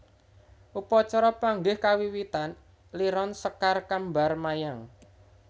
Upacara panggih kawiwitan liron sekar kembar mayang